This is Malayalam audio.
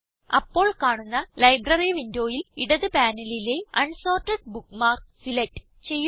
അപ്പോൾ കാണുന്ന ലൈബ്രറി വിൻഡോയിൽ ഇടത് പാനലിലെ അൻസോർട്ടഡ് ബുക്ക്മാർക്സ് സിലക്റ്റ് ചെയ്യുക